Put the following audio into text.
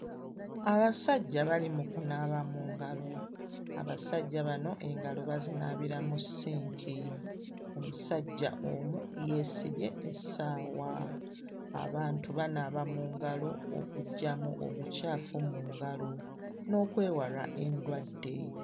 Abasajja bali mu kunaaba mu ngalo, abasajja bano engalo bazinaabira mu sinki, omusajja omu yeesibye essaawa; abantu banaaba mu ngalo okuggyamu obucaafu mu ngalo n'okwewala endwadde.